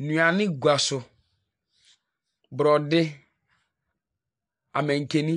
Nnuane gua so, borɔde, amankani,